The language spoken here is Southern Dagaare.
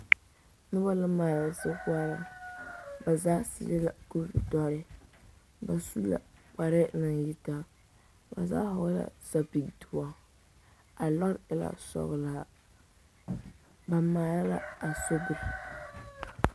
Noba la are sokoɔraa na zaa su la kuri dɔre ba mine kparɛɛ naŋ yi taa ba zaa vɔgele la zapili doɔ a lɔre e la sɔgelaa ba maale la a sobiri